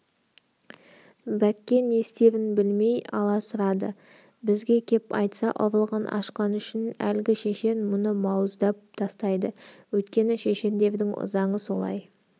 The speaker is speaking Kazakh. бәкке не істерін білмей аласұрады бізге кеп айтса ұрлығын ашқаны үшін әлгі шешен мұны бауыздап тастайды өйткені шешендердің заңы солай